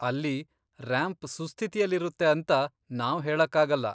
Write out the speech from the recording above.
ಅಲ್ಲಿ ರ್ಯಾಂಪ್ ಸುಸ್ಥಿತಿಲಿರುತ್ತೆ ಅಂತ ನಾವ್ ಹೇಳಕ್ಕಾಗಲ್ಲ.